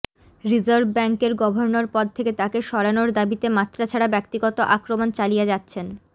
reserve ব্যাঙ্কের governor পদ থেকে তাঁকে সরানোর দাবিতে মাত্রাছাড়া ব্যক্তিগত আক্রমণ চালিয়ে যাচ্ছেন